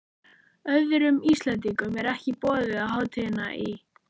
Öðrum Íslendingum er ekki boðið á hátíðina í